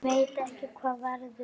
Ég veit ekki hvað verður.